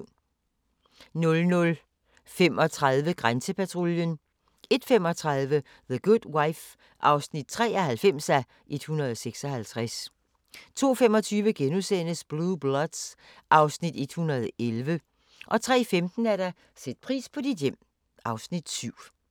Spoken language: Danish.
00:35: Grænsepatruljen 01:35: The Good Wife (93:156) 02:25: Blue Bloods (Afs. 111)* 03:15: Sæt pris på dit hjem (Afs. 7)